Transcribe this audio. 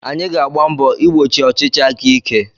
Anyị ga-agba mbọ igbochi ọchịchị aka ike.